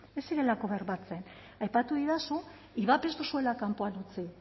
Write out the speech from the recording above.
ez zirelako bermatzen aipatu didazu ivap ez duzuela kanpoan utzi